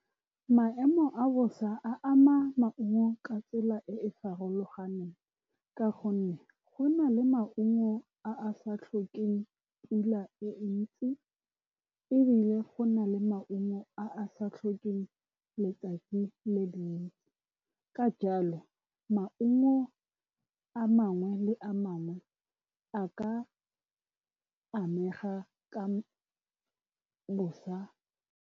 Maemo a bosa a ama maungo ka tsela e e farologaneng, ka gonne go na le maungo a a sa tlhokeng pula e ntsi, ebile go na le maungo a a sa tlhokeng letsatsi le dintsi. Ka jalo, maungo a mangwe le a mangwe a ka amega ka bosa.